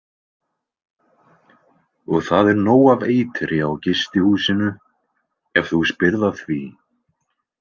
Og það er nóg af eitri á gistihúsinu, ef þú spyrð að því.